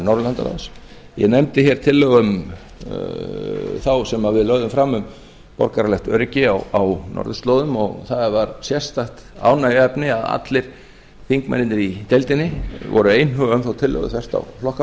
norðurlandaráðs ég nefndi hér tillögu þá sem við lögðum fram um borgaralegt öryggi á norðurslóðum og það var sérstakt ánægjuefni að allir þingmennirnir í deildinni voru einhuga um þá tillögu þvert á flokksbönd